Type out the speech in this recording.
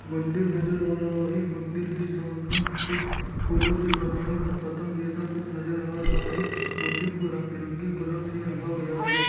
मंदिर नजर आ रहा है मंदिर के सामने कुछ फुलों से बनाए हुआ पतंग जैसा कुछ नजर आ रहा है मंदिर को रंग-बिरंगे कलर से रंगा गया है।